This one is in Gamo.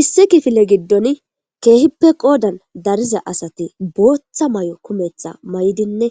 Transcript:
Issi kifile giddon keehippe qoodan dariza asati booththa may7o kumeththa may7idinne